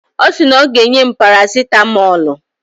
Ọ sị na o ga-enye m parasitamọlụ.